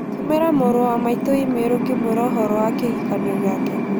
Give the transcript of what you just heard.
Tũmĩra mũrũ wa maitũ i-mīrū ngĩmwĩra ũhoro wa kĩhikanio gĩake